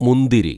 മുന്തിരി